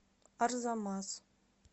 арзамас